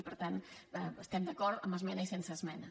i per tant hi estem d’acord amb esmena i sense esmena